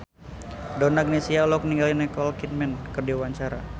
Donna Agnesia olohok ningali Nicole Kidman keur diwawancara